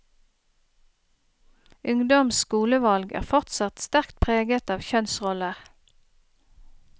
Ungdoms skolevalg er fortsatt sterkt preget av kjønnsroller.